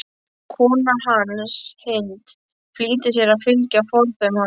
Kona hans, Hind, flýtir sér að fylgja fordæmi hans.